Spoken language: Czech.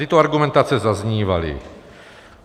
Tyto argumentace zaznívaly.